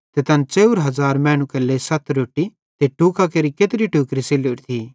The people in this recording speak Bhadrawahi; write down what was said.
ते तैन 4000 मैनू केरे लेइ सत रोट्टी ते टुकां केरि केत्री टोकरी सैल्लोरी थी